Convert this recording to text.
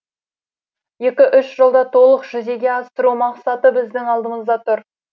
екі үш жылда толық жүзеге асыру мақсаты біздің алдымызда тұр